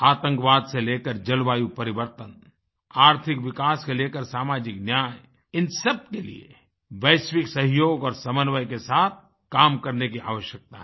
आतंकवाद से लेकर जलवायु परिवर्तन आर्थिक विकास से लेकर सामाजिक न्याय इन सबके लिए वैश्विक सहयोग और समन्वय के साथ काम करने की आवश्यकता है